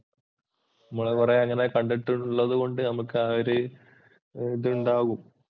നമ്മള് കുറെ അങ്ങനെ കണ്ടിട്ടുള്ളത് കൊണ്ട് നമുക്കാ ഒര്തുണ്ടാവും